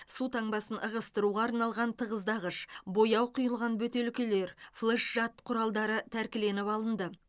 су таңбасын ығыстыруға арналған тығыздағыш бояу құйылған бөтелкелер флэш жад құралдары тәркіленіп алынды